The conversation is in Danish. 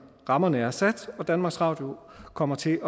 rammerne er sat og danmarks radio kommer til